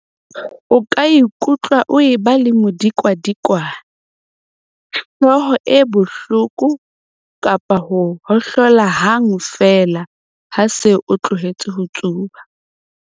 O ka ikutlwa o eba le modikwadikwane, hlooho e bohloko kapa ho ohlola hang feela ha o se o tlohetse ho tsuba.